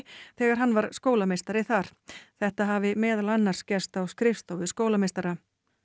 þegar hann var skólameistari þar þetta hafi meðal annars gerst á skrifstofu skólameistara